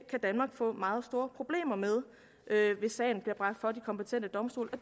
kan danmark få meget store problemer med hvis sagen bliver bragt for de kompetente domstole og